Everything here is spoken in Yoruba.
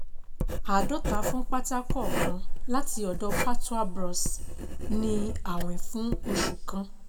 Àádọ́ta fún pátá kọ̀ọ̀kan láti ọ̀dọ̀ Patwa Bros, ní àwìn fún oṣù kan.